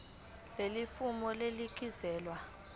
leli fomu linikezelwe